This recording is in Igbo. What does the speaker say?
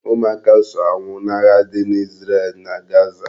Ụmụaka so anwụ n'agha dị na Izrel na Gaza